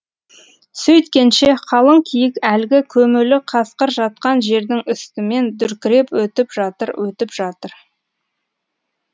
сөйткенше қалың киік әлгі көмулі қасқыр жатқан жердің үстімен дүркіреп өтіп жатыр өтіп жатыр